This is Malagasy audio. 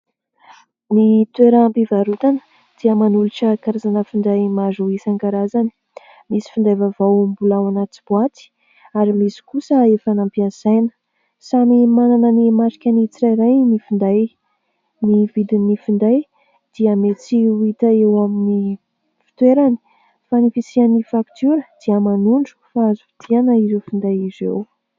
Ny toeram-pivarotana dia manolotra karazana finday maro isan-karazany. Misy finday vaovao mbola ao anaty boaty ary misy kosa efa nampiasaina. Samy manana ny marikany tsirairay ny finday, ny vidin'ny finday dia mety ho hita eo amin'ny fitoerany fa ny fisian'ny faktiora dia manondro fa Azotianina ireo finday ireo